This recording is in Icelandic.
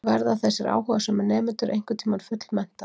Verða þessir áhugasömu nemendur einhvern tíma fullmenntaðir?